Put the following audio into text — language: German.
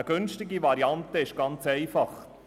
Eine günstige Variante ist ganz einfach: